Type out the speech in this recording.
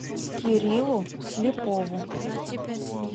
кириллу слепову